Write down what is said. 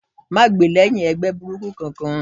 Má gbè lẹ́hìn ẹgbẹ́ burúkú kankan!